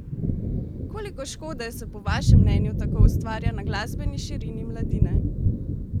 Koliko škode se po vašem mnenju tako ustvarja na glasbeni širini mladine?